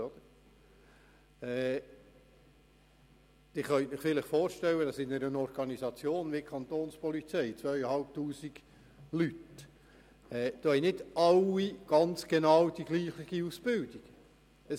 Sie können sich vorstellen, dass in einer Organisation wie der Kapo mit 2500 Leuten nicht alle dieselbe Ausbildung haben.